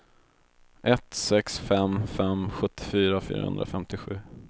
ett sex fem fem sjuttiofyra fyrahundrafemtiosju